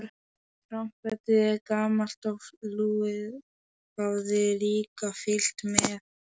Trompetið, gamalt og lúið, hafði líka fylgt með.